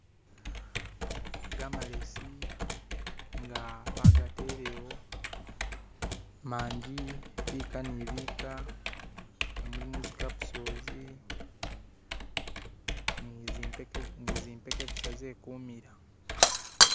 Gamalesi nga bagatelewo, manji biika ni biika nga mulimo zikapusolozi ni zipeke busa zekumila